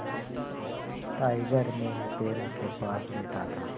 tiger मेरे पैरों के पास लेटा था